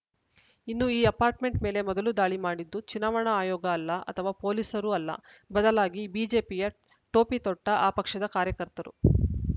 ಇನ್ನು ಈ ಅಪಾರ್ಟ್‌ಮೆಂಟ್‌ ಮೇಲೆ ಮೊದಲು ದಾಳಿ ಮಾಡಿದ್ದು ಚುನಾವಣಾ ಆಯೋಗ ಅಲ್ಲ ಅಥವಾ ಪೊಲೀಸರು ಅಲ್ಲ ಬದಲಾಗಿ ಬಿಜೆಪಿಯ ಟೋಪಿ ತೊಟ್ಟಆ ಪಕ್ಷದ ಕಾರ್ಯಕರ್ತರು